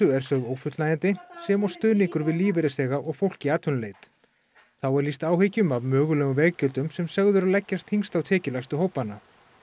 er sögð ófullnægjandi sem og stuðningur við lífeyrisþega og fólk í atvinnuleit þá er lýst áhyggjum af mögulegum veggjöldum sem sögð eru leggjast þyngst á tekjulægstu hópana